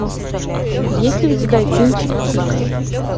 есть ли у тебя кинчик кика